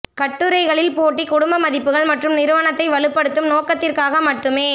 கட்டுரைகளின் போட்டி குடும்ப மதிப்புகள் மற்றும் நிறுவனத்தை வலுப்படுத்தும் நோக்கத்திற்காக மட்டுமே